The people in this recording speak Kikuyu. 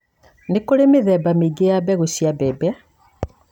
Nĩ kũrĩ mĩthemba mĩingĩ ya mbegũ cia mbembe,